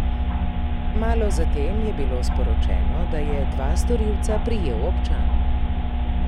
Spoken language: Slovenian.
Malo zatem je bilo sporočeno, da je dva storilca prijel občan.